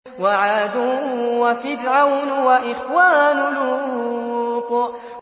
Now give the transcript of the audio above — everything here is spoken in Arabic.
وَعَادٌ وَفِرْعَوْنُ وَإِخْوَانُ لُوطٍ